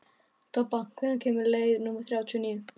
Tobba, hvenær kemur leið númer þrjátíu og níu?